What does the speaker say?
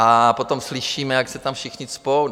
A potom slyšíme, jak se tam všichni cpou.